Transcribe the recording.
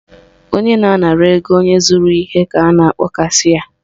Onye na-anara ego onye zụrụ ihe ka a na-akpọ cashịa